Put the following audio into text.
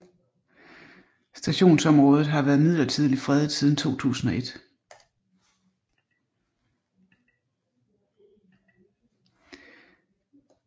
Stationsområdet har været midlertidigt fredet siden 2001